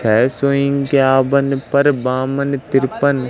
है सौ इक्यावन पर बामन तिरपन--